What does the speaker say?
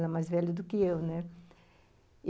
Ela é mais velha do que eu, né?